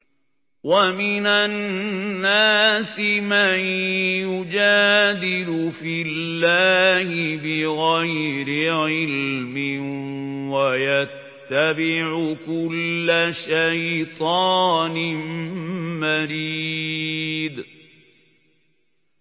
وَمِنَ النَّاسِ مَن يُجَادِلُ فِي اللَّهِ بِغَيْرِ عِلْمٍ وَيَتَّبِعُ كُلَّ شَيْطَانٍ مَّرِيدٍ